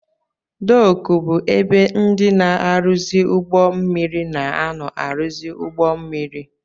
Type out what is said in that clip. Dooku bụ ebe ndị na-aruzi ụgbọ mmiri na-ano aruzi ụgbọ mmiri.